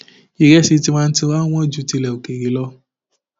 ìrẹsì tiwantiwa wọn ju tilé òkèèrè lọ